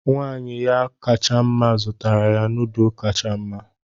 Nwanyị ya kacha mma zụtara ya noodlu kacha mma.